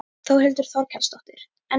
Þórhildur Þorkelsdóttir: En þér?